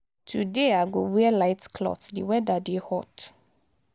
today i go wear light cloth di weda dey hot.